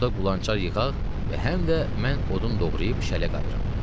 Orda qulançar yığaq və həm də mən odun doğrayıb şələ qayırım.